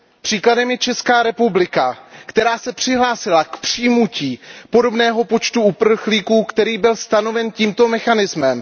Příkladem je Česká republika, která se přihlásila k přijmutí podobného počtu uprchlíků, který byl stanoven tímto mechanismem.